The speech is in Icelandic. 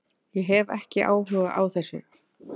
Ég hef ekki áhuga á þessu.